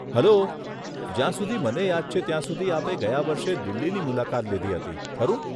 Hello, જ્યાં સુધી મને યાદ છે ત્યાં સુધી આપે ગયા વર્ષે દિલ્હીની મુલાકાત લીધી હતી, ખરું?